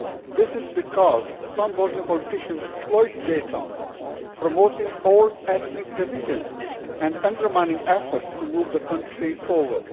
This is because some Bosnian politicians exploit Dayton, promoting old ethnic divisions and undermining efforts to move the country forward.